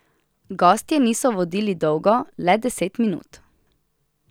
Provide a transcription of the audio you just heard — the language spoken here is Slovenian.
Gostje niso vodili dolgo, le deset minut.